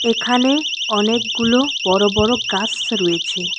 এখানে অনেকগুলো বড় বড় গাস রয়েছে।